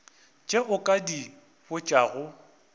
tše o ka di botšago